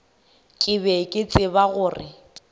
ke be ke tseba gore